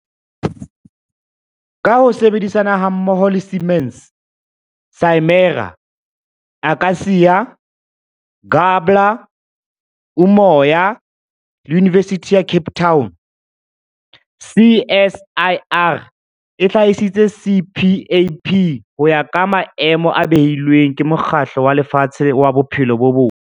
Ka ho sebedisana hammoho le Siemens, Simera, Akacia, Gabler, Umoya le Yunivesithi ya Cape Town, CSIR e hlahisitse CPAP ho ya ka maemo a beilweng ke Mokgatlo wa Lefatshe wa Bophelo bo Botle.